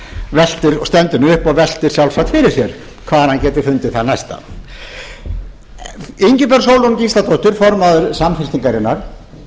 stendur nú upp og veltir sjálfsagt fyrir sér hvar hann geti fundið þann næsta ingibjörg sólrún gísladóttir formaður samfylkingarinnar